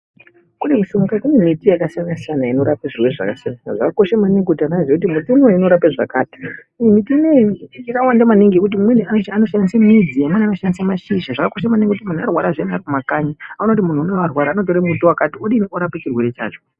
Kune miti yakasiyana siyana inorape zvirwere zvakasiyana siyana. Zvakakosha maningi kuti vanhu vazive kuti muti unouyu unorape zvakati. Miti ineyi yakawanda maningi ngekuti vamweni vanoshandise midzi, vamweni vanoshandise mashizha. Zvakakosha maningi kuti kana muntu arwara ngaaende kumakanyi unotore muti wakati, udini? Urape chirwere chacho.